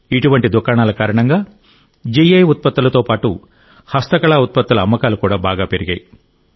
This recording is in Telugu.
ఇటువంటి దుకాణాల కారణంగా జీఐ ఉత్పత్తులతో పాటు హస్తకళా ఉత్పత్తుల అమ్మకాలు బాగా పెరిగాయి